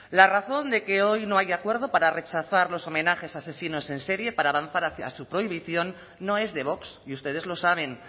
la razón de que hoy no haya acuerdo para rechazar los homenajes a asesinos en serie para avanzar hacia su prohibición no es de vox y ustedes lo saben